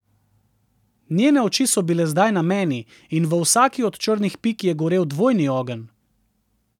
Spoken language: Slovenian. Njene oči so bile zdaj na meni in v vsaki od črnih pik je gorel dvojni ogenj.